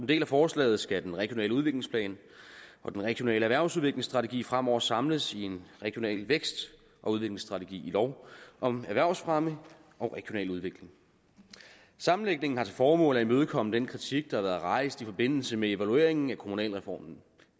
del af forslaget skal den regionale udviklingsplan og den regionale erhvervsudviklingsstrategi fremover samles i en regional vækst og udviklingsstrategi i lov om erhvervsfremme og regional udvikling sammenlægningen har til formål at imødekomme den kritik der har været rejst i forbindelse med evalueringen af kommunalreformen